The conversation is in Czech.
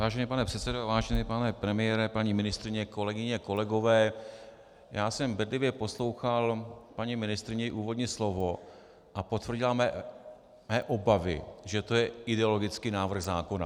Vážený pane předsedo, vážený pane premiére, paní ministryně, kolegyně, kolegové, já jsem bedlivě poslouchal paní ministryni, její úvodní slovo, a potvrdila mé obavy, že to je ideologický návrh zákona.